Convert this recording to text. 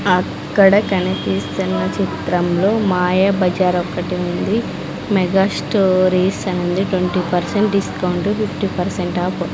అక్కడ కనిపిస్తున్న చిత్రంలో మాయాబజార్ ఒక్కటి ఉంది మెగా స్టోరీస్ అనుంది twenty percent discount fifty percent off .